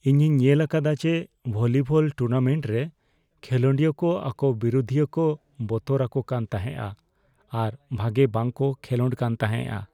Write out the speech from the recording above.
ᱤᱧᱤᱧ ᱧᱮᱞ ᱟᱠᱟᱫᱟ ᱡᱮ ᱵᱷᱚᱞᱤᱵᱚᱞ ᱴᱩᱨᱱᱟᱢᱮᱱᱴ ᱨᱮ ᱠᱷᱮᱞᱚᱰᱤᱭᱟᱹ ᱠᱚ ᱟᱠᱚ ᱵᱤᱨᱩᱫᱷᱤᱭᱟᱹ ᱠᱚ ᱵᱚᱛᱚᱨ ᱟᱠᱚ ᱠᱟᱱ ᱛᱟᱦᱮᱸᱜᱼᱟ ᱟᱨ ᱵᱷᱟᱜᱮ ᱵᱟᱝᱠᱚ ᱠᱷᱮᱞᱳᱰ ᱠᱟᱱ ᱛᱟᱦᱮᱸᱜᱼᱟ ᱾